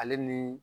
Ale ni